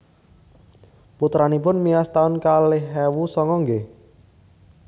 Putranipun miyos taun kalih ewu songo nggih?